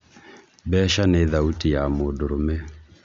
mbeca nĩ thauti ya mũndũrũme